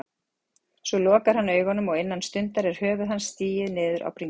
Svo lokar hann augunum og innan stundar er höfuð hans sigið niður á bringu.